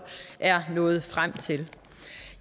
er nået frem til